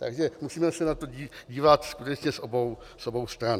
Takže musíme se na to dívat skutečně z obou stran.